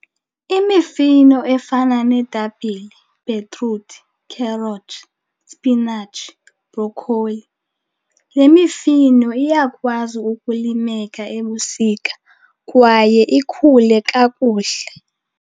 Imifino efana neetapile, ibhetruthi, kherothi, spinatshi, brokholi, le mifino iyakwazi ukulimeka ebusika kwaye ikhule kakuhle.